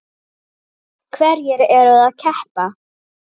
Hverjir eru að keppa?